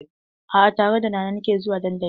A'a, tare da Nana nake zuwa dandali.